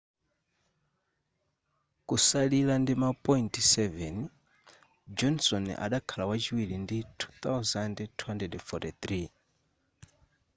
kusalira ndima point 7 johnson adakhala wachiri ndi 2,243